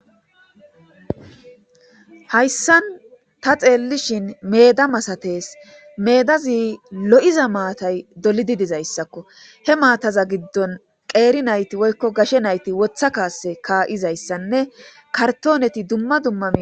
hayssan ta xeellishin meeda masates meedazi lo7iza maatay dolidi dizayssakko he maataza giddon qeeri nayti woykko gashe nayti wotha kaase kaa7izayssanne kartooneti dumma dumma min